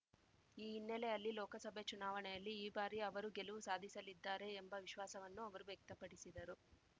ಈ ಹಿನ್ನೆಲೆಯಲ್ಲಿ ಲೋಕಸಭೆ ಚುನಾವಣೆಯಲ್ಲಿ ಈ ಬಾರಿ ಅವರು ಗೆಲುವು ಸಾಧಿಸಲಿದ್ದಾರೆ ಎಂಬ ವಿಶ್ವಾಸವನ್ನು ಅವರು ವ್ಯಕ್ತಪಡಿಸಿದರು